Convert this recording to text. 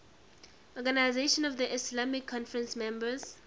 organisation of the islamic conference members